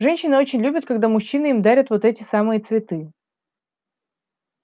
женщины очень любят когда мужчины им дарят вот эти самые цветы